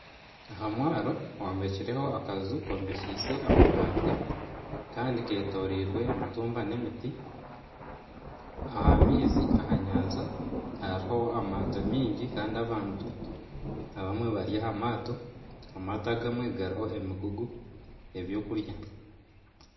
Aha mwaro hombekireho akaju kombekyise amabati kandi ketoreirwe emitumba n'emiti aha maizi aha nyanja hariho amaato mingi kandi abantu abamwe bari aha maato, amaato agamwe gariho emigugu ebyokurya